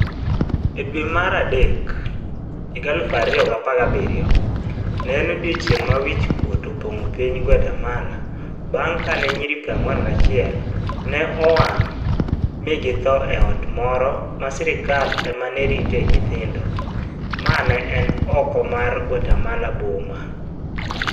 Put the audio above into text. E dwe mar Mach 2017, ne en odiechieng' ma wich kuot opong'o piny Guatemala bang ' kane nyiri 41 ne owang ' mi githo e ot moro ma sirkal ema ritoe nyithindo, ma ne ni oko mar Guatemala boma.